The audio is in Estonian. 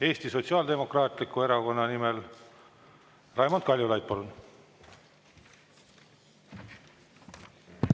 Eesti Sotsiaaldemokraatliku Erakonna nimel Raimond Kaljulaid, palun!